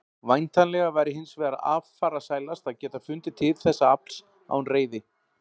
Væntanlega væri hins vegar affarasælast að geta fundið til þess afls án reiði.